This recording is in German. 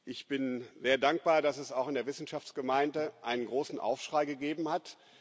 Ich bin sehr dankbar, dass es auch in der Wissenschaftsgemeinde einen großen Aufschrei gegeben hat.